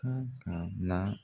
Kan ka na